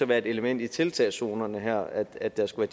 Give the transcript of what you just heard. være et element i tiltagszonerne her at der skulle